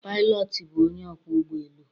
Pilot bụ onye ọkwọ ụgbọ elu